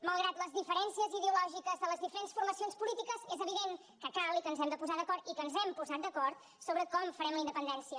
malgrat les diferències ideològiques de les diferents formacions polítiques és evident que cal i que ens hem de posar d’acord i que ens hem posat d’acord sobre com farem la independència